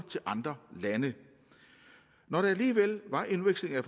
til andre lande når der alligevel var en udveksling af